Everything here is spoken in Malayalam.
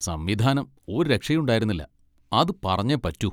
സംവിധാനം ഒരു രക്ഷയും ഉണ്ടായിരുന്നില്ല, അത് പറഞ്ഞേ പറ്റൂ.